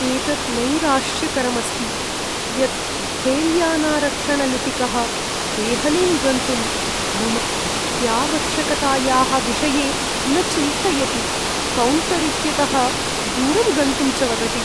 एतत् नैराश्यकरम् अस्ति यत् रेल्यानारक्षणलिपिकः देहलीं गन्तुं मम अत्यावश्यकतायाः विषये न चिन्तयति, कौण्टर् इत्यतः दूरं गन्तुं च वदति।